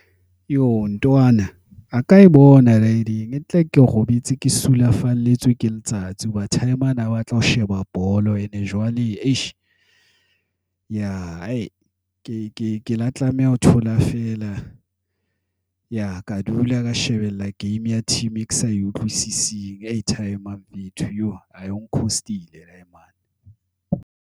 Yo! Ntwana a ka e ke robetse e sulafalletswe ke letsatsi. Hoba Timer na batla ho sheba bolo. And jwale eish ya. ke la tlameha ho thola fela ka dula ka shebella game ya team e ke sa e utlwisising. Eish timer ong cost-ile.